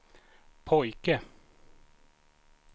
pojke